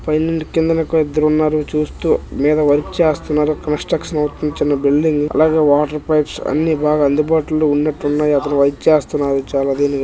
పైనుండి కిందన ఇద్దరు ఉన్నారు చూస్తూ పైన వర్క్ చేస్తున్నారు కన్స్ట్రక్షన్ అవుతుంది చిన్న బిల్డింగ్ అలాగే వాటర్ పైప్స్ అన్నీ బాగ అందుబాటులో ఉన్నటున్నాయి అక్కడ వర్క్ చేస్తున్నారు చాల --